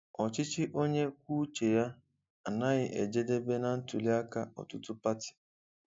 Ọchịchị onye kwuo uche ya anaghị ejedebe na ntuli aka ọtụtụ pati.